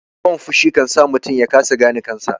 Yawan fushi kansa mutum yakasa gane kansa